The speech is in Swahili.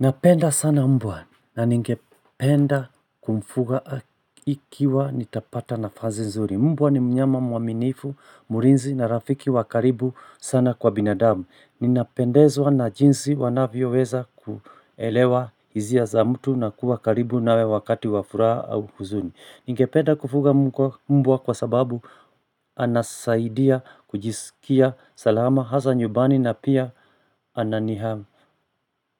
Napenda sana mbwa na ningependa kumfuga ikiwa nitapata nafasi nzuri. Mbwa ni mnyama mwaminifu, mlinzi na rafiki wa karibu sana kwa binadamu. Ninapendezwa na jinsi wanavyoweza kuelewa hisia za mtu na kuwa karibu nawe wakati wafuraha au huzuni. Ningepeda kufuga mbwa kwa sababu anasaidia kujisikia salama hasa nyumbani na pia ananiha